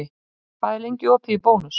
Marsa, hvað er lengi opið í Bónus?